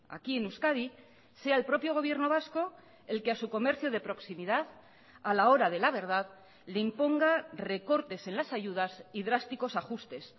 aquí en euskadi sea el propio gobierno vasco el que a su comercio de proximidad a la hora de la verdad le imponga recortes en las ayudas y drásticos ajustes